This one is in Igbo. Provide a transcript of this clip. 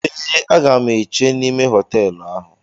Eé, a ga m èché n'ime hotéélu áhù